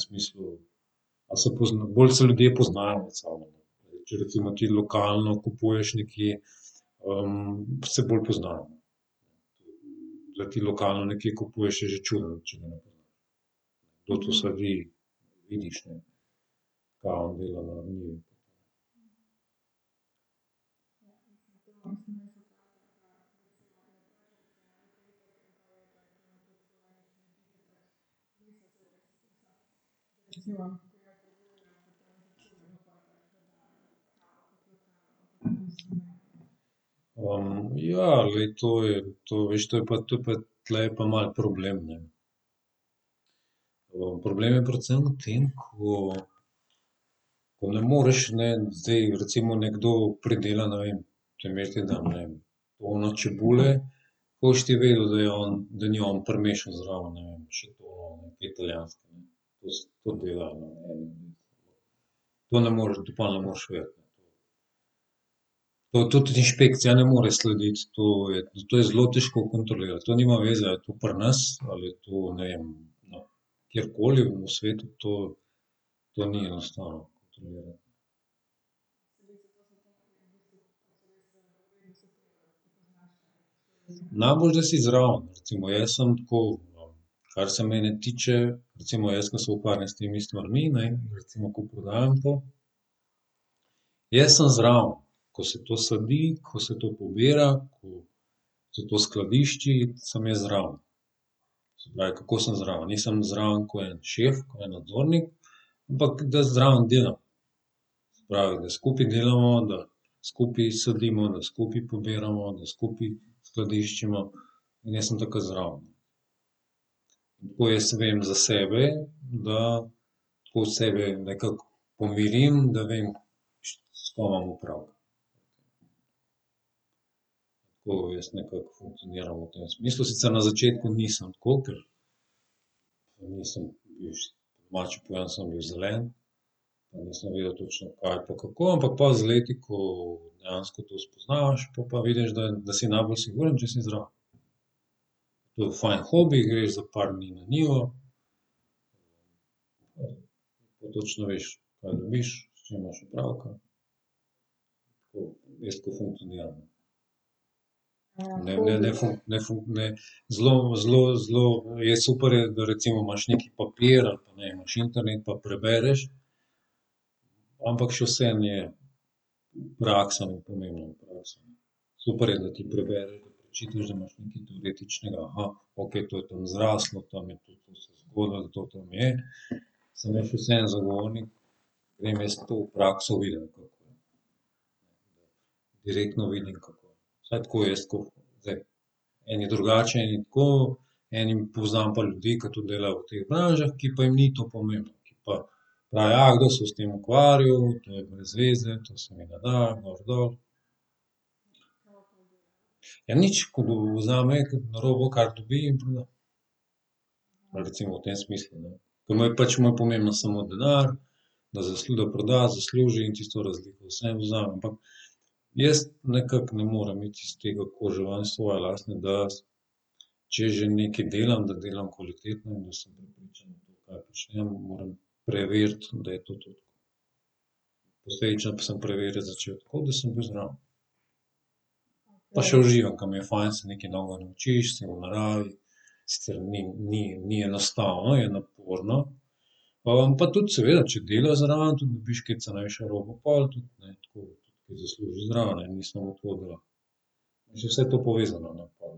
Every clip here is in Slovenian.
smislu, a se bolj se ljudje poznajo med sabo, no. Zdaj, če recimo ti lokalno kupuješ nekje, se bolj poznajo, ne. Da ti lokalno nekje kupuješ, je že čudno, če ne poznaš, kdo to sedi, vidiš, ne. Kva on dela na njivi. ja, glej, to je, to, veš to pa, to pa tule je pa malo problem, ne. problem je predvsem v tem, ko, ko ne moreš ne zdaj, recimo nekdo predela, ne vem, primer ti dam, ne vem, tono čebule, kako boš ti vedel, da je on, da ni on primešal zraven, ne vem, še to te italijanske, ne. to delajo, ne, eni. To ne moreš pol ne moreš vedeti. To tudi inšpekcija ne more slediti, to je, to je zelo težko kontrolirati, to nima veze, a je to pri nas ali je to, ne vem, kjerkoli v svetu to, to ni enostavno kontrolirati. Najboljše, da si zraven. Recimo, jaz sem tako, kar se mene tiče, recimo jaz, ke se ukvarjam s temi stvarmi, ne, in recimo, ko prodajam to, jaz sem zraven, ko se to sadi, ko se to pobira, ko se to skladišči, sem jaz zraven. Se pravi, kako sem zraven? Nisem zraven ko en šef, ko en nadzornik, ampak da zraven delam. Se pravi, da skupaj delamo, da skupaj sadimo, da skupaj pobiramo, da skupaj skladiščimo. In jaz sem takrat zraven. Tako jaz vem za sebe, da tako sebe nekako pomirim, da vem, s kom imam opravka. Tako jaz nekako funkcioniram v tem smislu, sicer na začetku nisem tako, ker nisem, po domače povedano sem bil zelen. Nisem vedel točno, kaj pa kako, ampak pol z leti, ko dejansko to spoznavaš pol pa vidiš, da si najbolj sigurno, če si zraven. Tudi fajn hobi, greš za par dni na njivo. Pa točno veš, kaj dobiš, s čim imaš opravka, tako, jaz tako funkcioniram, ne. Ne, ne ne, zelo, zelo, zelo je super je, da recimo imaš neki papir ali pa, ne vem, imaš internet pa prebereš, ampak še vseeno je praksa bolj pomembna. Super je, da ti prebereš, da prečitaš, da imaš nekaj teoretičnega, okej, to je tam zraslo, tam je tudi to se zgodilo, to tam je. Samo jaz še vseeno zagovornik, grem jaz to v prakso videti. Direktno vidim, kako, vsaj tako jaz tako zdaj eni drugače, eni tako, enim, poznam pa ljudi, ke tudi delajo v teh branžah, ki pa jim ni to pomembno. Ki pa, kdo se bo s tem ukvarjal, to je brez veze, to se mi ne da, gor dol. Ja, nič, ko bo vzame robo, kar dobi in pride recimo v tem smislu, ne. Ki mu je pač mu je pomemben samo denar, da da proda, zasluži in tisto razliko vseeno vzame, ampak jaz nekako ne morem iti iz te kože ven iz svoje lastne, da, če že nekaj delam, da delam kvalitetno in da sem prepričan v to, kar počnem, moram preveriti, da je to tudi posledično sem preverjati začel tako, da sem bil zraven. Pa še uživam, ke mi je fajn, se nekaj novega naučiš, si v naravi. Sicer ni, ni, ni enostavno, je naporno. pa tudi seveda, če delaš zraven, tudi dobiš kaj cenejšo robo pol tudi, ne, tako kaj zaslužiš zraven, ni samo to, da še vse to povezano, no, pol.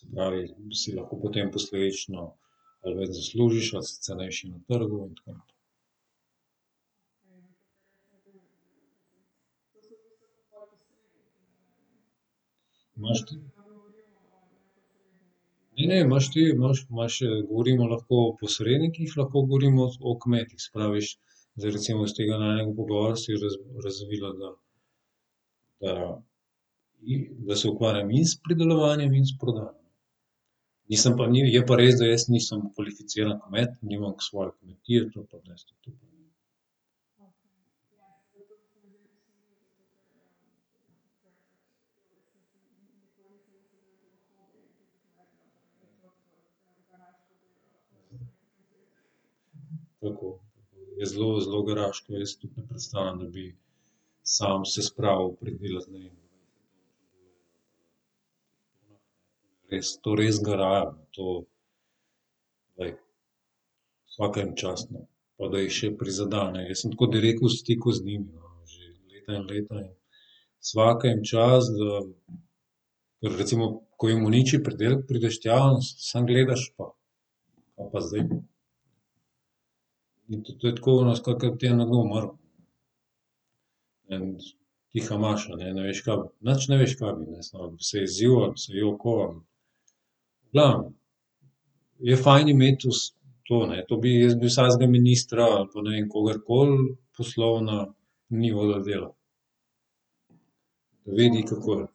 Se pravi, si lahko potem posledično malo več zaslužiš, malo si cenejši na trgu in tako naprej. Ne vem, imaš te, imaš, imaš, govorimo lahko o posrednikih, lahko govorimo o kmetih. Se pravi, zdaj recimo iz tega najinega pogovora se je razvilo, da, da je, da se ukvarjam in s pridelovanjem in s prodajo. Nisem pa je pa res, da jaz nisem kvalificiran kmet, nimam svoje kmetije, to pa res ... Tako. Je zelo, zelo garaško, jaz si tudi ne predstavljam, da bi samo se spravil pridelati, ne vem ... Res, to res garajo, no, to glej, svaka jim čast, no. Pa da jih še prizadene, jaz sem tako direkt v stiku z njimi, no, leta in leta in svaka jim čast, da, da recimo, ko jim uniči pridelek, prideš tja in samo gledaš pa kaj pa zdaj, in to, to je tako ono skoraj, kot da ti je nekdo umrl. Ne vem, tiha maša, ne, ne veš nič ne veš, kaj bi, ali bi se jezil ali bi se jokal ali ... Ja, je fajn imeti to ne, to bi, jaz bi vsakega ministra ali pa, ne vem, kogarkoli poslal na njivo, da dela. Da vidi, kako je.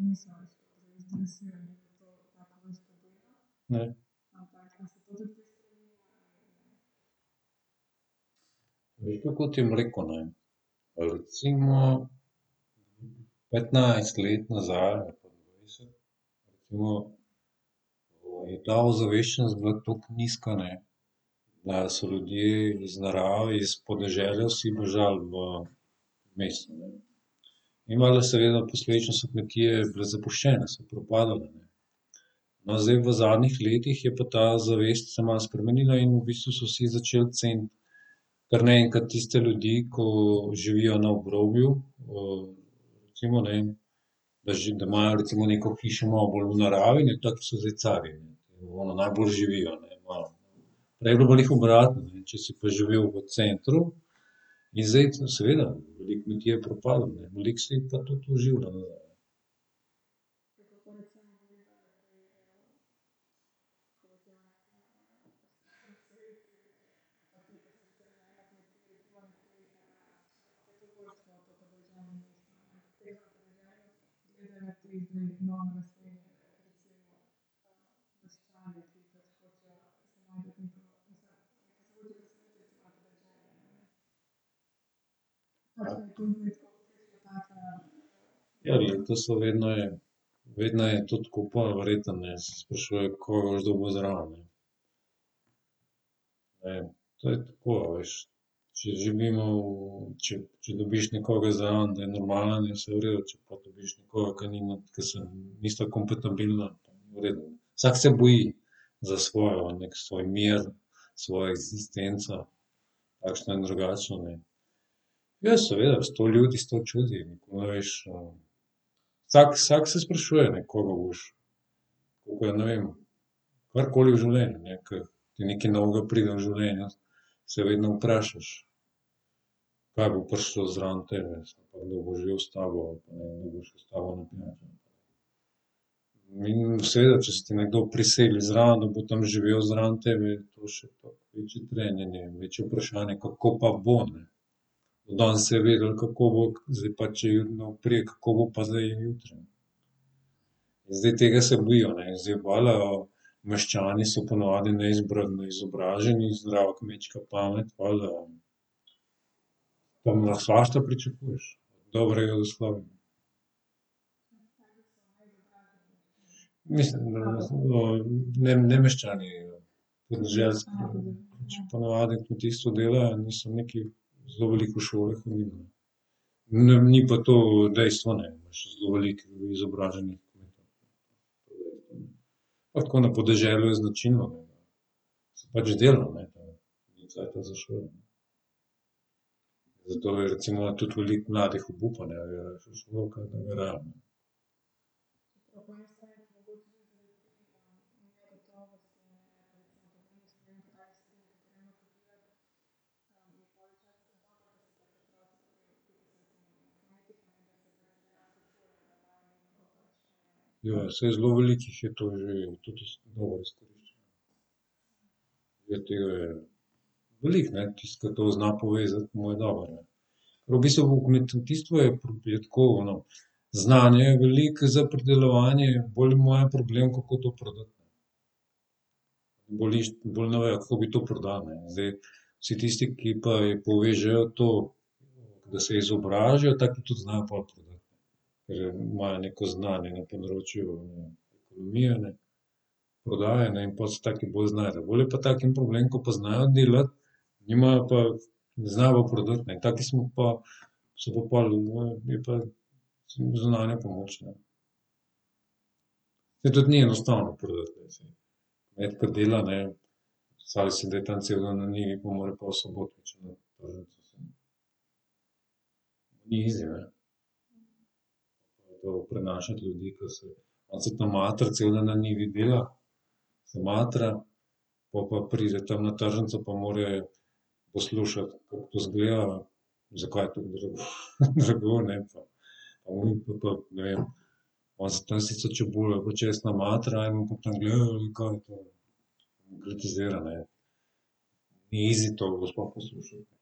Veš, kako ti bom rekel, ne. Recimo petnajst let nazaj ali pa dvajset smo je ta ozaveščenost bila toliko nizka, ne, da so ljudje iz narave, iz podeželja vsi bežali v mesto, ne. In valjda seveda posledično so kmetije bile zapuščene, so propadale, ne. No, zdaj v zadnjih letih je pa ta zavest se malo spremenila in v bistvu so vsi začel ceniti kar naenkrat tiste ljudi, ki živijo na obrobju recimo, ne. Da da imajo recimo neko hišo, malo bolj v naravi, ne, taki so zdaj carji. Ono, najboljše živi, ne . Prej je bilo pa glih obratno, ne, če si pa živel v centru, in zdaj seveda, veliko kmetij je propadlo, ne, velik se jih pa tudi oživlja nazaj. Ja, glej, to so, vedno je, vedno je tudi, ko pol verjetno, ne, sprašuje, kaj boš dobil zraven, ne. Ne vem, to je tako, a veš, če živimo če, če dobiš nekoga zraven, da je normalen, je vse v redu, če pa dobiš nekoga, ki nima, ker se, nista kompatibilna, v redu. Vsak se boji za svojo, neki svoj mir, svojo eksistenco takšno in drugačno, ne. Ja seveda sto ljudi sto čudi, nikoli ne veš, vsak, vsak se sprašuje, ne, koga boš, koga, ne vem, karkoli v življenju, ne, ker ti nekaj novega pride v življenje, se vedno vprašaš, kaj bo prišlo zraven tebe pa kdo bo živel s tabo ali pa kdo bo šel s tabo naprej. Mi, seveda, če se ti nekdo priseli zraven, da bo tam živel zraven tebe, to še toliko večje trenje, ne, večje vprašanje je, kako pa bo, ne. Danes se je vedelo, kako bo, zdaj pa , kako bo pa zdaj jutri, ne. Zdaj tega se bojijo, ne, zdaj valjda meščani so ponavadi neizobraženi, zdrava kmečka pamet, valjda. Tam lahko svašta pričakuješ. Dobrega slabem. Mislim, no, ne, ne meščani, podeželski, pač po navadi v kmetijstvu delajo, niso nekaj zelo veliko v šole hodili, ne. Ne ve, ni pa to dejstvo, ne, imaš zelo veliko izobraženih kmetov. Pa tako na podeželju je značilno pač delo, ne, pa ni cajta za šolo. Zato je recimo, tudi veliko mladih obupa, ne. Ja, saj zelo veliko jih je to že, tudi dobro izkorišča. Je tele veliko, ne, tisto, ke to zna povezati, mu je dobro, ne. V bistvu v v kmetijstvu je je tako ono znanja je veliko za pridelovanje, bolj je po mojem problem, kako to prodati. Bolj bolj ne vejo, kako bi to prodali, ne. Zdaj, vsi tisti, ki pa povežejo to, da se izobrazijo, taki tudi znajo pol prodati. Ker imajo neko znanje na področju ekonomije, ne, prodaje, ne, in pol se taki bolj znajdejo, bolj je pa takim problem, ker pa znajo delati, nimajo pa, ne znajo pa prodati, ne, taki smo pa, so pa pol, je pa zunanja pomoč, ne. Saj tudi ni enostavno prodati. Kmet kar dela, ne, predstavljaj si, da je tam cel dan na njivi, pol more pa v soboto . Ni izi, ne, to prenašati ljudi, ke so, on se tam matra, cel dan na njivi dela, se matra, pol pa pride tam na tržnico pa more poslušati, kako to izgleda, zakaj je tako drago, ne, pa ne vem, pol pa, ne vem, pol se tam sicer čebula pa česen matra, en pa tam gleda, kaj je to. In kritizira, ne. Ni izi to ga sploh poslušati.